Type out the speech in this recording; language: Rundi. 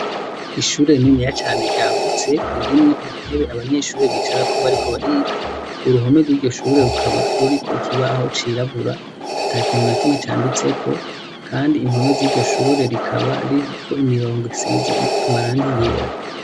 Ishure rininiya cane ryagutse ririmwo intebe abanyeshuri bicarako bariko bariga, uruhome rw'iryo shure rukaba ruriko ikibaho cirabura ata kintu na kimwe canditseko kandi impome z'iryo shure rikaba ririko imirongo isize amarangi yera.